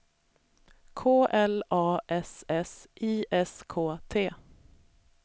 K L A S S I S K T